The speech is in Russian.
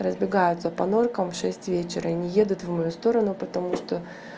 разбегаются по норкам в шесть вечера и не едут в мою сторону потому что